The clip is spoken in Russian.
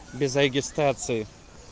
без регистрации